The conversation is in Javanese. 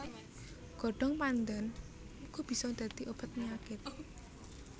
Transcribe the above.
Godhong pandhan uga bisa dadi obat penyakit